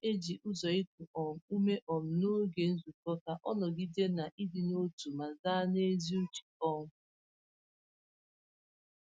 Ọ na-eji ụzụ iku um ume um n’oge nzukọ ka o nọgide na ịdị n’otu ma zaa n’ezi uche. um